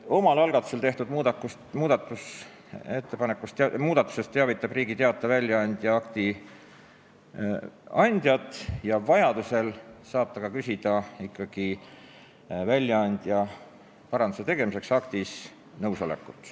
Omal algatusel tehtud muudatusest teavitab Riigi Teataja väljaandja akti andjat ja vajadusel saab ta küsida akti andja nõusolekut aktis paranduse tegemiseks.